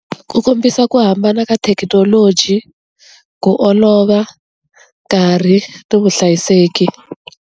Ku kombisa ku hambana ka thekinoloji ku olova nkarhi ni vuhlayiseki.